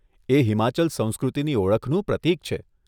એ હિમાચલ સંસ્કૃતિની ઓળખનું પ્રતીક છે.